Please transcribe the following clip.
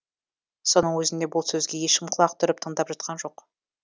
соның өзінде бұл сөзге ешкім құлақ түріп тыңдап жатқан жоқ